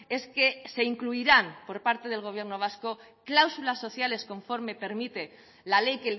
es que se incluirán por parte del gobierno vasco cláusulas sociales conforme permite la ley